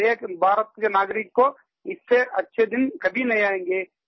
हर एक भारत के नागरिक को इससे अच्छे दिन कभी नहीं आएँगे